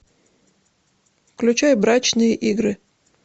включай брачные игры